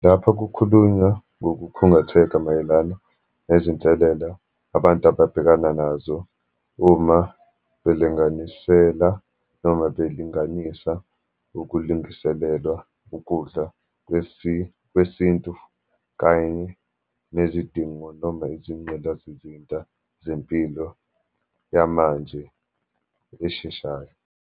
Lapha kukhulunywa ngokukhungatheka mayelana nezinselelo abantu ababhekana nazo uma belinganisela, noma belinganisa ukulingislelwa ukudla kwesintu kanye nezidingo, noma izinqgindazizinda zempilo yamanje esheshayo.